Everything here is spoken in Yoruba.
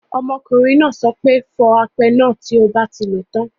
Ọmọkùnrin náà sọ pé; fọ apẹ náà tí o bá ti lòó tán.